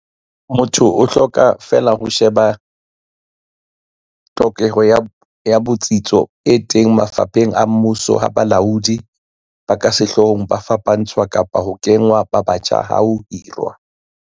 Motho o hloka feela ho she ba tlhokeho ya botsitso e ba teng mafapheng a mmuso ha balaodi ba ka sehloohong ba fapantshwa kapa ho kengwa ba batjha ha ho hirwa